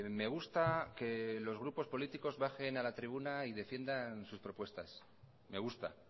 me gusta que los grupos políticos bajen a la tribuna y defiendan sus propuestas me gusta